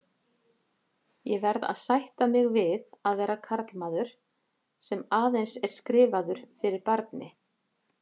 Ég verð að sætta mig við að vera karlmaður, sem aðeins er skrifaður fyrir barni.